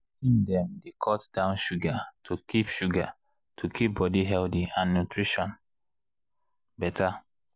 teen dem dey cut down sugar to keep sugar to keep body healthy and nutrition better.